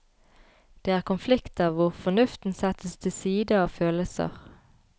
Det er konflikter hvor fornuften settes til side av følelser.